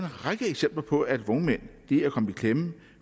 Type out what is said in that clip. række eksempler på at vognmænd er kommet i klemme